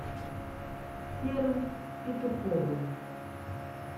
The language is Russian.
серым петуховым